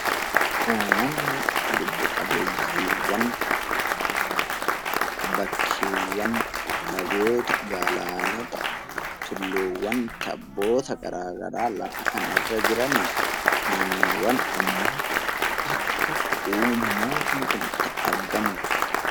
Uumamni lubbu qabeeyyiiwwan bakkeewwan, lagoota, galaanota, tulluuwwan, tabboota garaa garaa lafa kanarra jiran dha. Naannoowwan ammoo akka uumamoonni kun itti argamu dha.